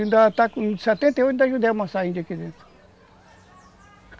Ainda está com... em setenta e oito, ainda ajudei a amassar índio aqui dentro.